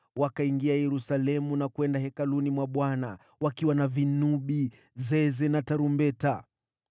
Wakaingia Yerusalemu na kwenda hekaluni mwa Bwana wakiwa na vinubi, zeze na tarumbeta.